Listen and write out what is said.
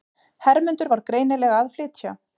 Hermundur var greinilega að flytja.